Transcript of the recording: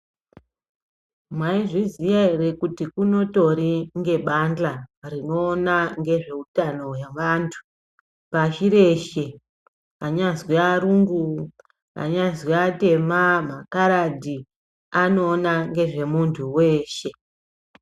Maizviziya ere kuti kunotori nebandxa rinoona nezveutauno hwevantu pashi reshe, vanyazwi varungu, vanyazi vatema, makaradhi anoona ngezvemuntu weshe.